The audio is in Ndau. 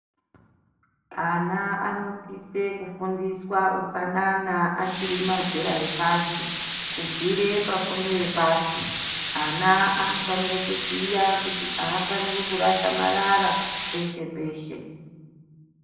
Ana anosisise kufundiswa utsanana achiri mazera epasi. Kubvira pafundo yepasi. Ana anofanira kuziya kuti aafaniri kurasha marara peshe peshe.